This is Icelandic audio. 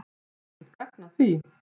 Er eitthvert gagn að því?